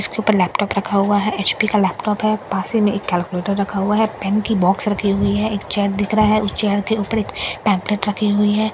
इसके ऊपर लैपटॉप रखा हुआ है एच_पी का लैपटॉप है पास ही में कैलकुलेटर रखा हुआ है पेन की बॉक्स रखी हुई है एक चेयर दिख रहा है उस चेयर के ऊपर एक पैंफलेट रखी हुई है।